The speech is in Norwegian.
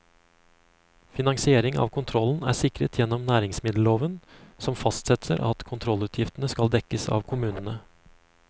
Finansiering av kontrollen er sikret gjennom næringsmiddelloven, som fastsetter at kontrollutgiftene skal dekkes av kommunene.